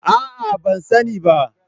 A'a, ban sani ba.